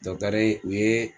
Dɔkitɛri u ye